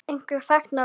Einhver þekkt nöfn?